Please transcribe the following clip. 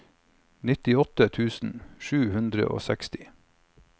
nittiåtte tusen sju hundre og seksti